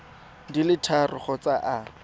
di le tharo kgotsa a